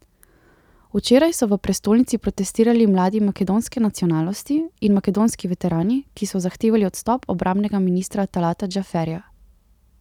Včeraj so v prestolnici protestirali mladi makedonske nacionalnosti in makedonski veterani, ki so zahtevali odstop obrambnega ministra Talata Džaferija.